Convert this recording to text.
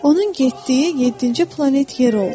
Onun getdiyi yeddinci planet yer oldu.